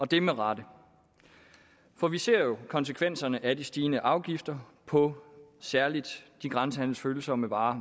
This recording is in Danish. det er med rette for vi ser jo meget konsekvenserne af de stigende afgifter på særligt de grænsehandelsfølsomme varer